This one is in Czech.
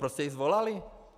Proč jste ji svolali?